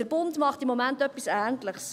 Der Bund macht im Moment etwas Ähnliches.